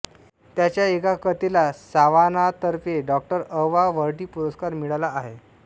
त्यांच्या एका कथेला सावानातर्फे डाॅ अ वा वर्टी पुरस्कार मिळाला आहे